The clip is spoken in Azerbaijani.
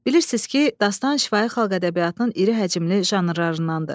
Bilirsiniz ki, dastan şifahi xalq ədəbiyyatının iri həcmli janrlarındandır.